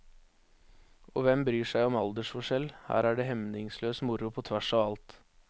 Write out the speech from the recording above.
Og hvem bryr seg om aldersforskjell, her er det hemningsløs moro på tvers av alt.